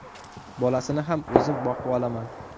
Bolasini ham o‘zim boqib olaman.